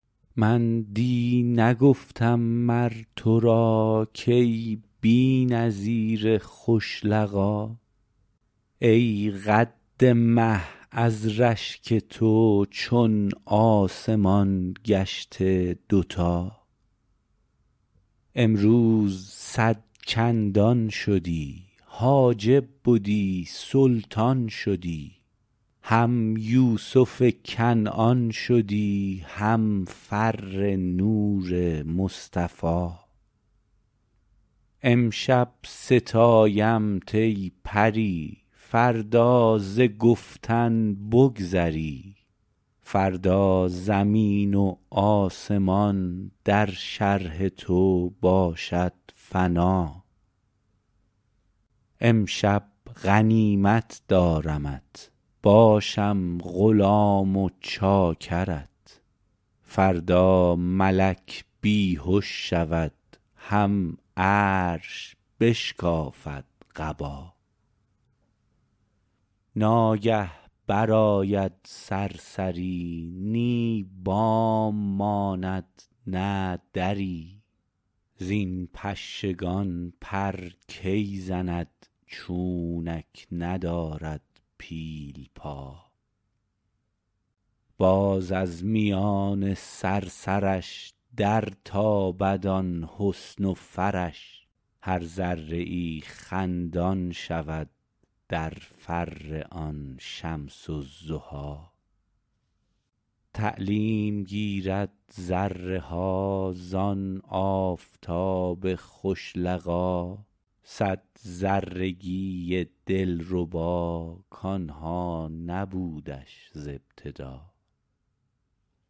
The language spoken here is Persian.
من دی نگفتم مر تو را کای بی نظیر خوش لقا ای قد مه از رشک تو چون آسمان گشته دوتا امروز صد چندان شدی حاجب بدی سلطان شدی هم یوسف کنعان شدی هم فر نور مصطفی امشب ستایمت ای پری فردا ز گفتن بگذری فردا زمین و آسمان در شرح تو باشد فنا امشب غنیمت دارمت باشم غلام و چاکرت فردا ملک بی هش شود هم عرش بشکافد قبا ناگه برآید صرصری نی بام ماند نه دری زین پشگان پر کی زند چونک ندارد پیل پا باز از میان صرصرش درتابد آن حسن و فرش هر ذره ای خندان شود در فر آن شمس الضحی تعلیم گیرد ذره ها زان آفتاب خوش لقا صد ذرگی دلربا کان ها نبودش ز ابتدا